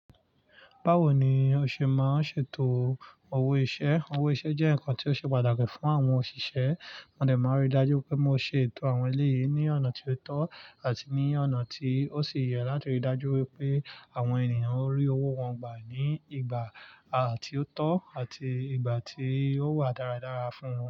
Bawo ni o ṣe máa n ṣe ètò owó iṣẹ́? Owó iṣẹ́ jẹ́ ǹkan tí ó ṣe pàtàkì fún àwọn òṣìṣẹ́. Mo dẹ̀ máa rí dájú wipé mo ṣe ètò àwọn eléyìí ní ọ̀nà tí ó tọ́ àti ní ọ̀nà tí ó sì yẹ láti rí dájú wípé àwọn ènìyàn rí owó wọn gbà ní ìgbà à tí ó tọ́ àti ìgbà tí ó wà dáradára fún wọn.